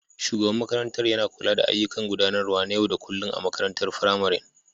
Shugaban makarantar yana kula da ayyukan gudanarwa na yau da kullun na makarantar firamarin